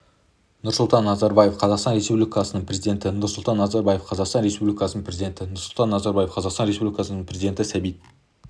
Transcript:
нұрсұлтан назарбаев қазақстан республикасының президенті нұрсұлтан назарбаев қазақстан республикасының президенті нұрсұлтан назарбаев қазақстан республикасының президенті сабит